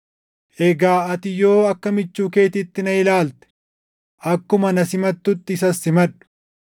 Egaa ati yoo akka michuu keetiitti na ilaalte akkuma na simatutti isas simadhu.